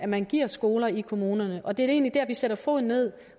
man giver skoler i kommunerne og det er egentlig der vi sætter foden ned